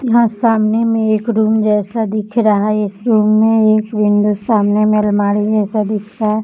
यहां सामने में एक रूम जैसा दिख रहा है इस रूम में एक विंडो सामने में अलमारी है ऐसा दिख रहा --